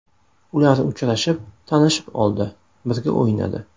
Ular uchrashib, tanishib oldi, birga o‘ynadi.